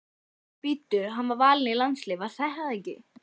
Bíddu hann var valinn í landsliðið var það ekki?